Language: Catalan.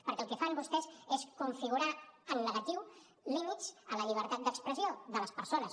perquè el que fan vostès és configurar en negatiu límits a la llibertat d’expressió de les persones